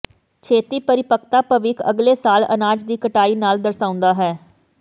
ਛੇਤੀ ਪਰਿਪੱਕਤਾ ਭਵਿੱਖ ਅਗਲੇ ਸਾਲ ਅਨਾਜ ਦੀ ਕਟਾਈ ਨਾਲ ਦਰਸਾਉਂਦਾ ਹੈ